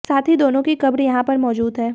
साथ ही दोनों की कब्र यहां पर मौजूद है